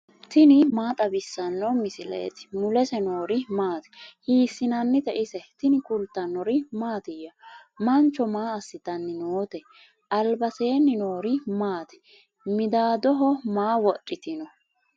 tini maa xawissanno misileeti ? mulese noori maati ? hiissinannite ise ? tini kultannori mattiya? Mancho maa asittanni nootte? alibaseenni noori maatti? Midaadoho maa wodhittinno?